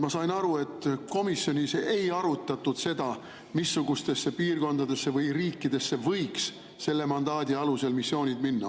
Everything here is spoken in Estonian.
Ma sain aru, et komisjonis ei arutatud, missugustesse piirkondadesse või riikidesse võiksid selle mandaadi alusel missioonid minna.